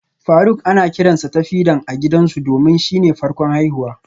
Faruk ana kiransa Tafidan a gida domin shine farkon haihuwa